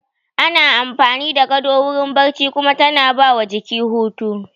Ana amfani da gado wurin barci kuma tana ba wa jiki hutu